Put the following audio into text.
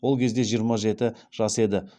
ол кезде жиырма жеті жас еді